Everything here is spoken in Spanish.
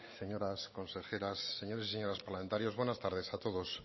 señoras consejeras señores y señoras parlamentarios buenas tardes a todos